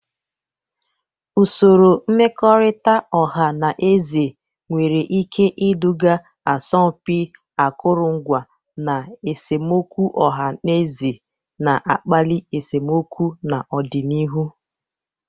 Usoro mmekọrịta ọha na eze nwere ike iduga asọmpi akụrụngwa, na esemokwu ọha na eze na-akpali esemokwu n'ọdịnihu.